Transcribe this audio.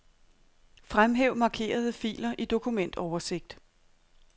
Fremhæv markerede filer i dokumentoversigt.